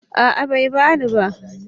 A'a bai bani ba